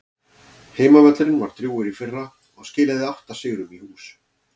Heimavöllurinn var drjúgur í fyrra og skilaði átta sigrum í hús.